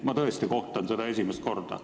Ma tõesti kohtan seda esimest korda.